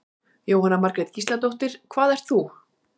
Jóhanna Margrét Gísladóttir: Hvað ert þú?